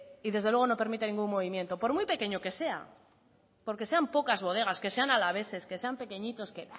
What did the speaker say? y desde luego no permite ningún movimiento por muy pequeño que sea porque sean pocas bodegas que sean alaveses que sean pequeñitos qué